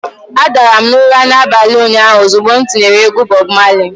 Adara m ụra n'abalị ụnyaahụ ozugbo m tinyere egwu Bob Marley.